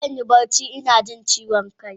Zan yi barci ina jin ciwon kai.